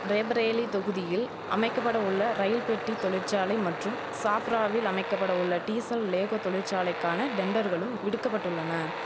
ரேபேரேலி தொகுதியில் அமைக்கபட உள்ள ரயில் பெட்டி தொழிற்சாலை மற்றும் சாஃப்ராவில் அமைக்கபட உள்ள டீசல் லேகோ தொழிற்சாலைக்கான டெண்டர்களும் விடுக்கபட்டுள்ளன